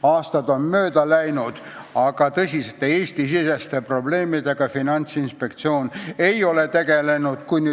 Aastad on mööda läinud, aga tõsiste Eesti-siseste probleemidega Finantsinspektsioon tegelenud ei ole.